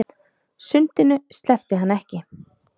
Sundinu sleppti hann ekki.